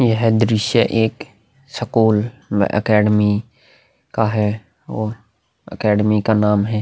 यह दृश्य एक स्कूल अकैडमी का है और अकैडमी का नाम है --